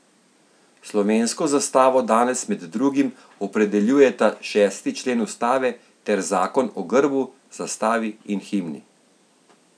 Slovensko zastavo danes med drugim opredeljujeta šesti člen ustave ter zakon o grbu, zastavi in himni.